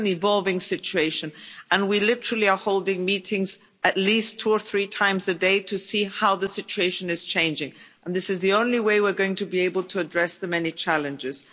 This is an evolving situation and we are literally holding meetings at least two or three times a day to see how the situation is changing, and this is the only way we're going to be able to address the many challenges.